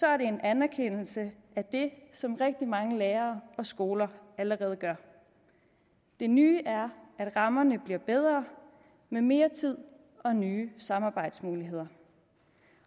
er det en anerkendelse af det som rigtig mange lærere og skoler allerede gør det nye er at rammerne bliver bedre med mere tid og nye samarbejdsmuligheder